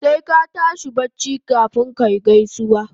Sai ka tashi daga bacci kafun kayi gaisuwa